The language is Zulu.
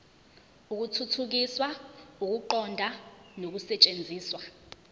ukuthuthukisa ukuqonda nokusetshenziswa